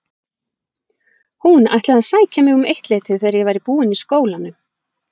Hún ætlaði að sækja mig um eittleytið þegar ég væri búin í skólanum.